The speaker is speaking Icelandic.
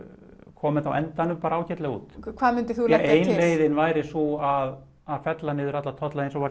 kom þetta á endanum bara ágætlega út hvað myndir þú leggja ein leiðin væri sú að að fella niður alla tolla eins